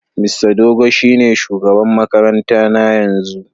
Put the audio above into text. Mista Dogo shine shugaban makarantar na yanzu.